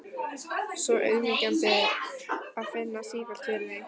Svo auðmýkjandi að finna sífellt fyrir því.